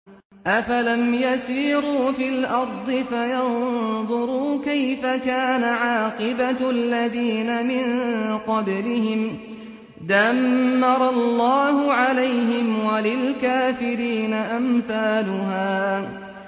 ۞ أَفَلَمْ يَسِيرُوا فِي الْأَرْضِ فَيَنظُرُوا كَيْفَ كَانَ عَاقِبَةُ الَّذِينَ مِن قَبْلِهِمْ ۚ دَمَّرَ اللَّهُ عَلَيْهِمْ ۖ وَلِلْكَافِرِينَ أَمْثَالُهَا